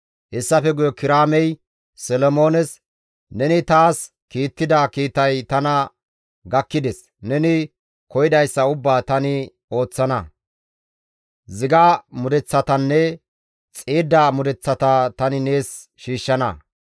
Hessafe guye Kiraamey Solomoones, «Neni taas kiittida kiitay tana gakkides. Neni koyidayssa ubbaa tani ooththana; ziga mudeththatanne xiidda mudeththata tani nees shiishshana.